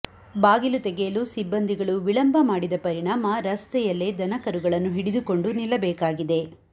ಬಾಗಿಲು ತೆಗೆಯಲು ಸಿಬಂದಿಗಳು ವಿಳಂಬ ಮಾಡಿದ ಪರಿಣಾಮ ರಸ್ತೆಯಲೇ ದನಕರುಗಳನ್ನು ಹಿಡಿದುಕೊಂಡು ನಿಲ್ಲಬೇಕಾಗಿದೆ